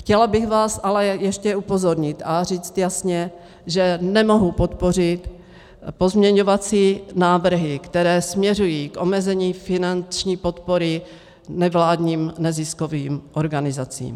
Chtěla bych vás ale ještě upozornit a říct jasně, že nemohu podpořit pozměňovací návrhy, které směřují k omezení finanční podpory nevládním neziskovým organizacím.